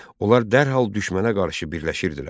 Onlar dərhal düşmənə qarşı birləşirdilər.